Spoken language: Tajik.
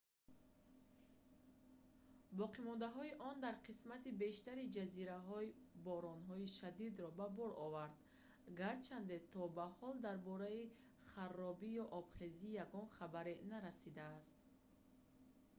боқимондаҳои он дар қисмати бештари ҷазираҳо боронҳои шадидро ба бор овард гарчанде то ба ҳол дар бораи харобӣ ё обхезӣ ягон хабаре нарасидааст